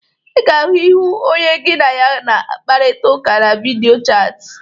Ị ga-ahụ ihu onye gị na ya na-akparịta ụka na vidiyo chatin.